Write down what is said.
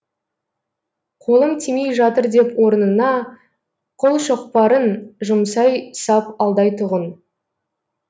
қолым тимей жатыр деп орнына қолшоқпарын жұмсай сап алдайтұғын